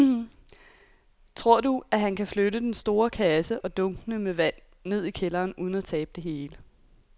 Tror du, at han kan flytte den store kasse og dunkene med vand ned i kælderen uden at tabe det hele?